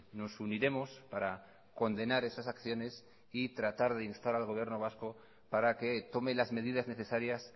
nos uniremos para condenar esas acciones y tratar de instar al gobierno vasco para que tome las medidas necesarias